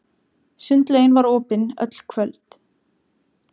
Sundlaugin var opin öll kvöld.